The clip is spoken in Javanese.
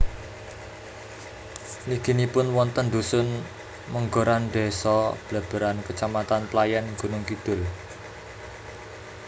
Mliginipun wonten dhusun Menggoran désa Bleberan kecamatan Playèn Gunungkidul